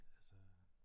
Altså